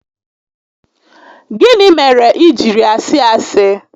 Gịnị mere i jiri asị asị?